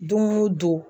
Don o don